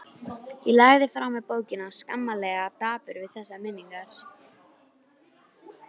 Ég lagði frá mér bókina, skammarlega dapur við þessar minningar.